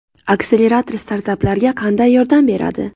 Akselerator startaplarga qanday yordam beradi?